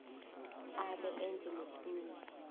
abe enze neqiniso